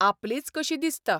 आपलीच कशी दिसता.